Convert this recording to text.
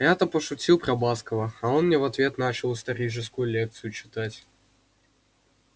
я-то пошутил про баскова а он мне в ответ начал историческую лекцию читать